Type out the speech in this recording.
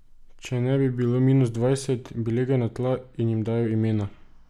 Če ne bi bilo minus dvajset, bi legel na tla in jim dajal imena.